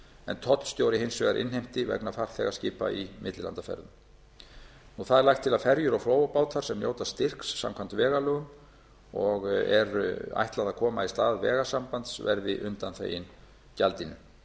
en tollstjóri hins vegar innheimti vegna farþegaskipa í millilandaferðum lagt er til að ferjur og flóabátar sem njóta styrks samkvæmt vegalögum og er ætlað að koma í stað vegasambands verði undanþegin gjaldinu að